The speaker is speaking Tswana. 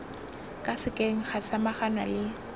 ka sekeng ga samaganwa le